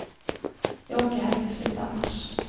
Jag åker hem i slutet av mars.